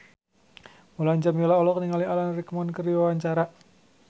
Mulan Jameela olohok ningali Alan Rickman keur diwawancara